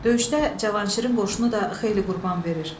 Döyüşdə Cavanşirin qoşunu da xeyli qurban verir.